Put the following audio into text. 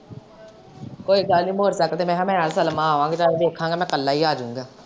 ਕੋਈ ਗੱਲ ਨੀ ਮੋਟਰਸਾਇਕਲ ਤੇ ਮੈਂ ਤੇ ਸਲਮਾਂ ਆਵਾਗੇ ਚੱਲ ਵੇਖਾਗਾ ਮੈਂ ਇੱਕਲਾ ਹੀ ਆ ਜਾਊਗਾ।